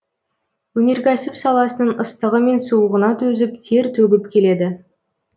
өнеркәсіп саласының ыстығы мен суығына төзіп тер төгіп келеді